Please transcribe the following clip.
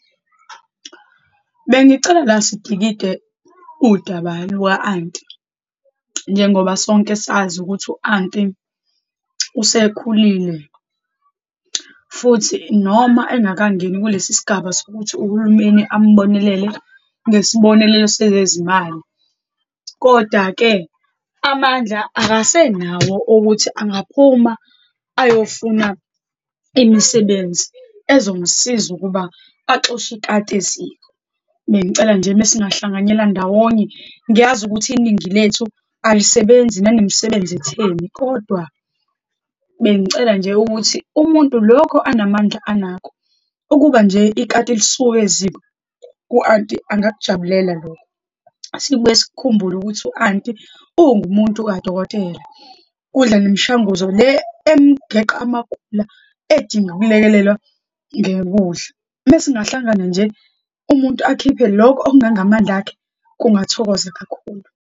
Bengicela la sidikide udaba lwa-anti, njengoba sonke sazi ukuthi u-anti usekhulile, futhi noma engakangeni kulesi sigaba sokuthi uhulumeni ambonelele ngesibonelelo sezezimali. Kodwa-ke amandla akasenawo ukuthi ungaphuma ayofuna imisebenzi ezomsiza ukuba axoshe ikati eziko. Bengicela nje uma singahlanganyela ndawonye, ngiyazi ukuthi iningi lethu alisebenzi nanemisebenzi etheni, kodwa bengicela nje ukuthi, umuntu lokho anamandla anakho, ukuba nje ikati lisuke eziko, u-anti angakujabulela lokho. Sibuye sikhumbule ukuthi u-anti ungumuntu kadokotela, udla nemishanguzo le emgeqa amagula, edinga ukulekelelwa ngekudla. Uma singahlangana nje, umuntu akhiphe lokho okungangamandla akhe, kungathokoza kakhulu.